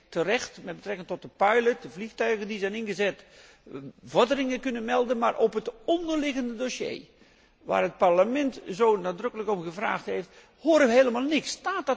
U heeft terecht met betrekking tot het pilotproject en de vliegtuigen die zijn ingezet, vorderingen kunnen melden, maar over het onderliggende dossier waar het Parlement zo nadrukkelijk om gevraagd heeft, horen we helemaal niks.